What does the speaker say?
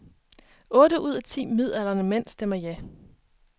Otte ud af ti midaldrende mænd stemmer ja.